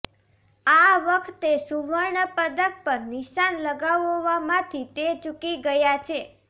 આ વખતે સુવર્ણ પદક પર નિશાન લગાવવામાંથી તે ચૂકી ગયા છે